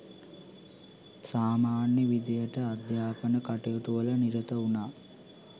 සාමාන්‍ය විදිහට අධ්‍යාපන කටයුතුවල නිරත වුණා.